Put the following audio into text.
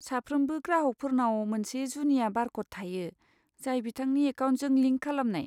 साफ्रोमबो ग्राहफोरनाव मोनसे जुनिया बारक'ड थायो जाय बिथांनि एकाउन्टजों लिंक खालामनाय।